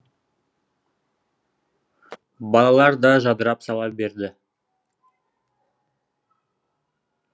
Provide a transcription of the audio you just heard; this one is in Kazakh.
балалар да жадырап сала берді